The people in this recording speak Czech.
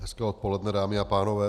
Hezké odpoledne, dámy a pánové.